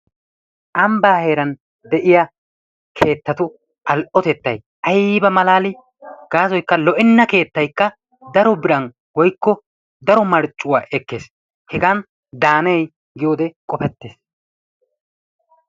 Ambbaa heeran de'iya keettatu al'otettay aybba malaalii? Gaasoykka lo'enna keettaykka daro biran woykko daro marccuwa ekkees. Hegaan daanee giyode qofettees.